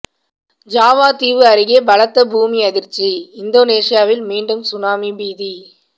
Java தீவு அருகே பலத்த பூமி அதிர்ச்சி இந்தோனேசியாவில் மீண்டும் சுனாமி பீதி